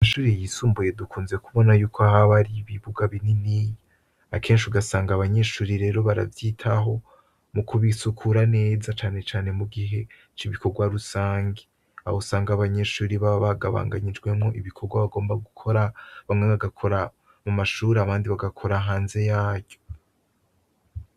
Kw'ishure ryisumbuye dukunze kubona yuko haba hariho ibibuga binini, akenshi ugasaga abanyeshure rero baravyitaho mukubisukura neza cane cane mugihe c'ibikogwa rusangi, aho usanga abanyeshure baba bagabanganijwe mubikogwa bagomba gukora, bamwe bagakora mumashure abandi bagakora hanze yaryo.